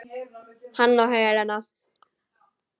Hann og Helena.